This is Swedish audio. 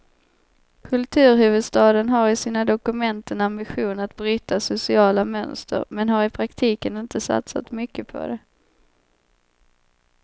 Kulturhuvudstaden har i sina dokument en ambition att bryta sociala mönster, men har i praktiken inte satsat mycket på det.